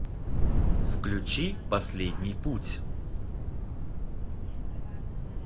включи последний путь